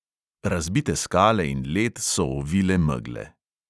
Razbite skale in led so ovile megle.